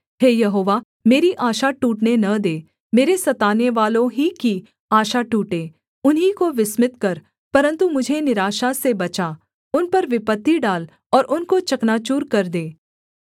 हे यहोवा मेरी आशा टूटने न दे मेरे सतानेवालों ही की आशा टूटे उन्हीं को विस्मित कर परन्तु मुझे निराशा से बचा उन पर विपत्ति डाल और उनको चकनाचूर कर दे